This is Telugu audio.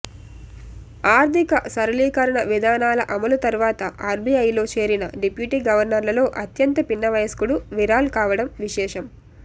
ఆర్థిక సరళీకరణ విధానాల అమలు తర్వాత ఆర్బీఐలో చేరిన డిప్యూటీ గవర్నర్లలో అత్యంత పిన్న వయస్కుడు విరాల్ కావడం విశేషం